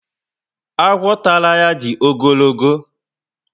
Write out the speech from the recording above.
Agwọ tàrà ya dị ogologo